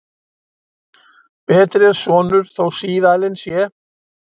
Betri er sonur þó síðalin sé.